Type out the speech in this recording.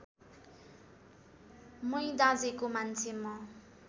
मै दाँजेको मान्छे म